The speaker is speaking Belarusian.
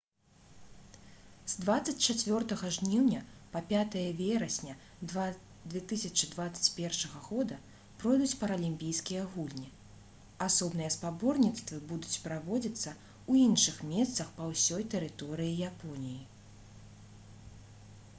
з 24 жніўня па 5 верасня 2021 г пройдуць паралімпійскія гульні асобныя спаборніцтвы будуць праводзіцца ў іншых месцах па ўсёй тэрыторыі японіі